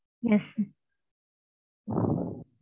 Yes sir.